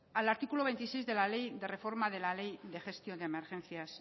al artículo veintiséis de la reforma de la ley de gestión de emergencias